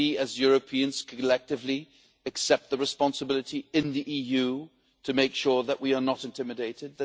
that we as Europeans collectively accept the responsibility in the EU to make sure that we are not intimidated